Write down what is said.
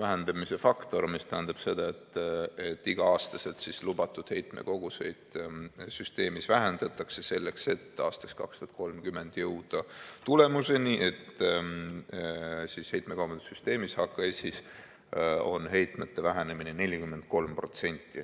vähendamise faktor, mis tähendab seda, et iga-aastaselt lubatud heitmekoguseid süsteemis vähendatakse, selleks et aastaks 2030 jõuda tulemuseni, et heitmekaubanduse süsteemis on heitmete vähenemine 43%.